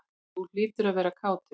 Þú hlýtur að vera kátur?